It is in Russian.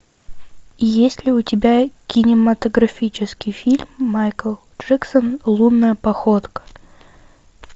есть ли у тебя кинематографический фильм майкл джексон лунная походка